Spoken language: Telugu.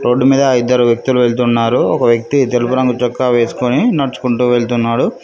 రోడ్డు మీద ఇద్దరు వ్యక్తులు వెళ్తున్నారు ఒక వ్యక్తి తెలుపు రంగు చొక్కా వేసుకొని నడుచుకుంటూ వెళ్తున్నాడు.